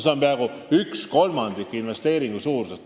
See on peaaegu kolmandik investeeringu suurusest.